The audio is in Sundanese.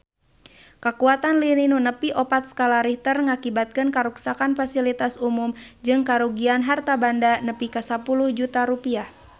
Kakuatan lini nu nepi opat skala Richter ngakibatkeun karuksakan pasilitas umum jeung karugian harta banda nepi ka 10 juta rupiah